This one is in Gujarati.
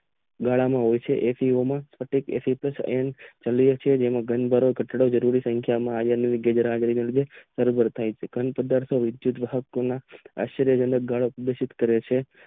ઉનાળામાં હોય છે એમાં બેન્ડ માં કરવામાં આવે છે જરૂર હોય છે આયોને એમ કરતા છતાં તેવો ધુછેત કરે છે